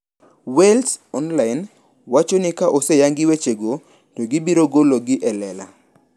Wales online wacho ni ka oseyangi wechego to gibirogolo gi e lela.